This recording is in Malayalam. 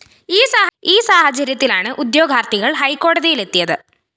ഈ സാഹചര്യത്തിലാണ് ഉദ്യോഗാര്‍ത്ഥികള്‍ ഹൈക്കോടതിയിലെത്തിയത്